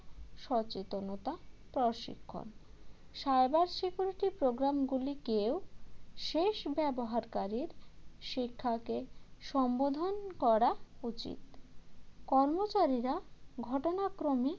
সচেতনতা প্রশিক্ষণ cyber security program গুলিকেও শেষ ব্যবহারকারীর শিক্ষাকে সম্বোধন করা উচিত কর্মচারীরা ঘটনাক্রমে